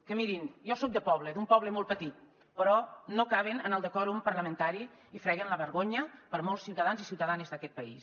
que mirin jo soc de poble d’un poble molt petit però no caben en el decòrum parlamentari i freguen la vergonya per molts ciutadans i ciutadanes d’aquest país